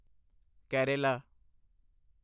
Kerala